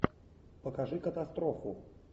покажи катастрофу